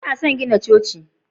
lna son gina Coci.